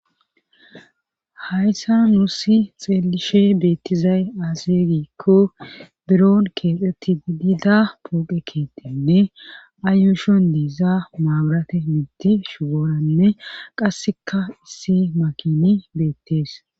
hayssan nuusi xeelishe beettizay aase giikko biron keexetti didida pooqe keettenne ayushon dieiza maaburate miti shugooranne qasseka issi makini beettees